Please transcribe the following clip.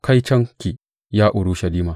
Kaitonki, ya Urushalima!